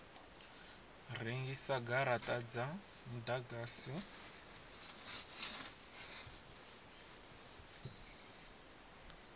rengisa garata dza mudagasi ya